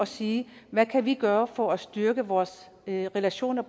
sige hvad kan vi gøre for at styrke vores relationer